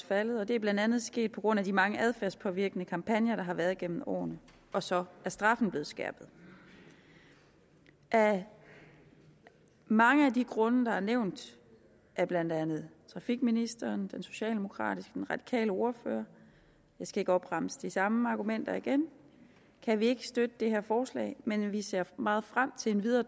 faldet og det er blandt andet sket på grund af de mange adfærdspåvirkende kampagner der har været igennem årene og så er straffen blevet skærpet af mange af de grunde der er blevet nævnt af blandt andet trafikministeren den socialdemokratiske og den radikale ordfører jeg skal ikke opremse de samme argumenter igen kan vi ikke støtte det her forslag men vi ser meget frem til en videre